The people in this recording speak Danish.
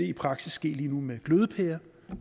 i praksis lige nu med glødepærer